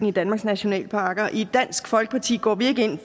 i danmarks nationalparker i dansk folkeparti går vi ikke ind